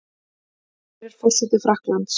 Hver er forseti Frakklands?